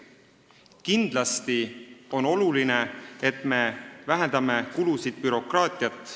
Kindlasti on oluline, et me vähendame kulusid ja bürokraatiat.